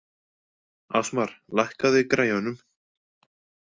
Ásmar, lækkaðu í græjunum.